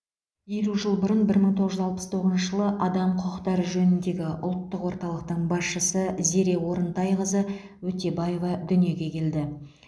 елу жыл бұрын бір мың тоғыз жүз алпыс тоғызыншы жылы адам құқықтары жөніндегі ұлттық орталықтың басшысы зере орынтайқызы өтебаева дүниеге келді